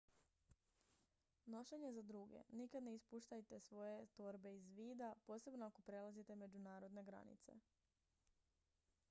nošenje za druge nikad ne ispuštajte svoje torbe iz vida posebno ako prelazite međunarodne granice